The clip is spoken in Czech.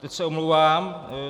Teď se omlouvám.